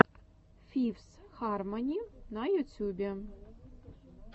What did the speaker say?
фифс хармони на ютюбе